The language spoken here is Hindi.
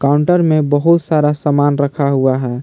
काउंटर में बहुत सारा सामान रखा हुआ है।